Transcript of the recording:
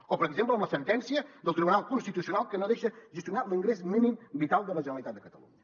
o per exemple amb la sentència del tribunal constitucional que no deixa gestionar l’ingrés mínim vital de la generalitat de catalunya